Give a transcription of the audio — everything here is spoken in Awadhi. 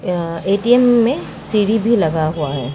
अ- एटीएम में सीढ़ी भी लगा हुआ है।